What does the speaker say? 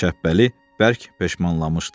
Şəbəli bərk peşmanlanmışdı.